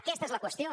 aquesta és la qüestió